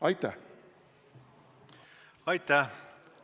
Aitäh!